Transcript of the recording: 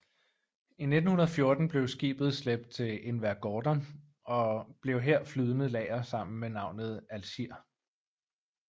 I 1914 blev skibet slæbt til Invergordon og blev her flydende lager med navnet Algiers